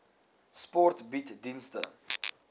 sport bied dienste